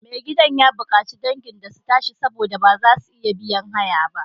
Mai gidan ya bukaci dangin su tashi saboda ba za su iya biyan haya ba.